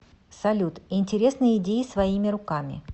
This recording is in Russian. салют интересные идеи своими руками